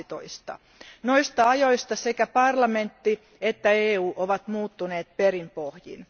12. Noista ajoista sekä parlamentti että EU ovat muuttuneet perin pohjin.